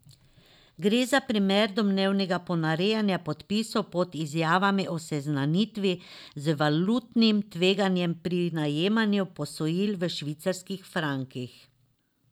Gre za primer domnevnega ponarejanja podpisov pod izjavami o seznanitvi z valutnim tveganjem pri najemanju posojil v švicarskih frankih.